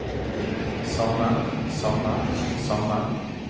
samme samme samme